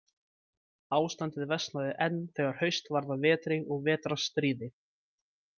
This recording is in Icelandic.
Ástandið versnaði enn þegar haust varð að vetri og vetrarstríði.